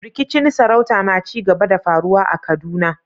Rikicin sarauta na ci gaba da faruwa a Kaduna.